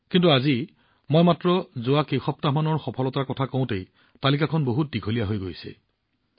কিন্তু আজি মই মাত্ৰ যোৱা কেইসপ্তাহমানৰ সফলতাৰ কথাহে কৈছো এই তালিকাখন যথেষ্ট দীঘলীয়া হৈ পৰিছে